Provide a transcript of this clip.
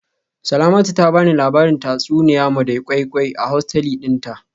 Salamatu ta bani labarin tatsuniya madam koi koi a hosteli dinta